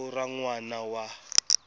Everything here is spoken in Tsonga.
vito ra n wana wa